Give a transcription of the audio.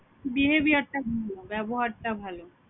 behaviour টা হম ব্যবহার টা ভালো l